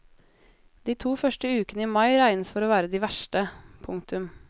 De to første ukene i mai regnes for å være de verste. punktum